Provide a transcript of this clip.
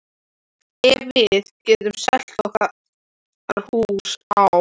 Ef við getum selt okkar hús á